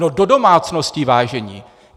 No, do domácností, vážení!